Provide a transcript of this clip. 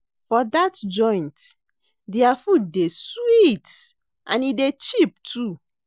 For dat joint, there food dey sweet and e dey cheap too.